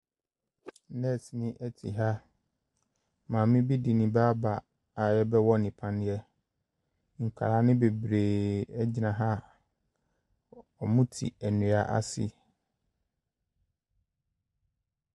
Nɛɛseni te ha. Maame bi de ne ba aba a wɔrebɛwɔ no paneɛ. Nkwadaa no bebreeee gyina ha a wɔte nnua ase.